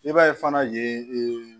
I b'a ye fana yen